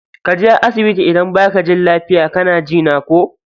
Kaje asibiti idan baka jin lafia kana jina ko.